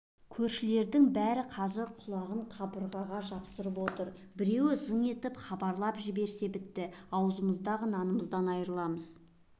көршілердің бәрі қазір құлағын қабырғаға жапсырып отыр біреу зың еткізіп хабарлап жіберсе біттік ауыздағы нанымыздан айрыламыз